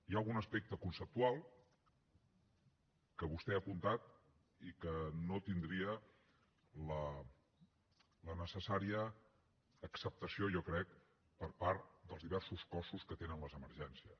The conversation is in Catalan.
hi ha algun aspecte conceptual que vostè ha apuntat i que no tindria la necessària acceptació jo crec per part dels diversos cossos que tenen les emergències